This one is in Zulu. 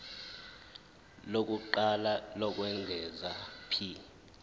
lokuqala lokwengeza p